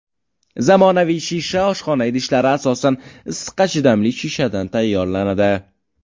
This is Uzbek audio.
Zamonaviy shisha oshxona idishlari asosan issiqqa chidamli shishadan tayyorlanadi.